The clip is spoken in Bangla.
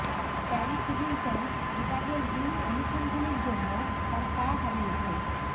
প্যারিস হিলটন বিবাহের রিং অনুসন্ধানের জন্য তার পা হারিয়েছে